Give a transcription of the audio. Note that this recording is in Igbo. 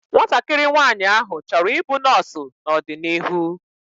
Nwatakịrị nwaanyị áhụ̀ chọrọ i bụ nọọsu n'ọdịnihu